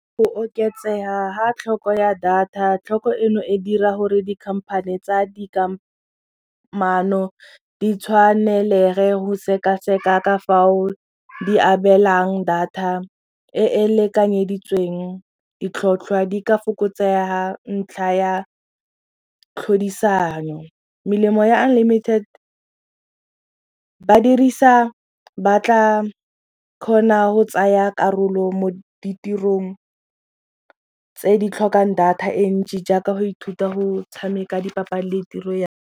Go oketsega ga tlhoko ya data tlhoko eno e dira gore di-company tsa dikamano di tshwanelege go sekaseka ka fao di abelang data e e lekanyeditsweng ditlhotlhwa di ka fokotsega ntlha ya tlhodisano. Melemo ya unlimited ba dirisa ba tla kgona go tsaya karolo mo ditirong tse di tlhokang data e ntsi jaaka go ithuta go tshameka dipapadi le tiro ya